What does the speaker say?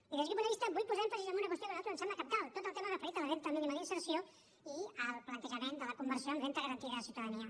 i des d’aquest punt de vista vull posar èmfasi en una qüestió que a nosaltres ens sembla cabdal tot el tema referit a la renda mínima d’inserció i al plantejament de la conversió en renda garantida de ciutadania